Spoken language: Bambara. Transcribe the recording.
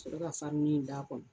sɔrɔ ka farini d'a kɔnɔ.